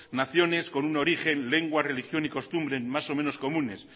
naciones con un origen lengua religión y costumbres más o menos costumbres